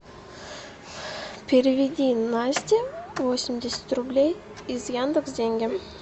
переведи насте восемьдесят рублей из яндекс деньги